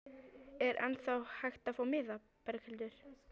Er ennþá hægt að fá miða, Berghildur?